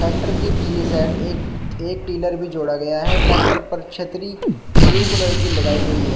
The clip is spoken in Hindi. ट्रैक्टर की पिछली साइड एक एक टीलर पिलर भी जोड़ा गया है ट्रैक्टर पर छतरी ब्लू कलर की लगाई हुई है।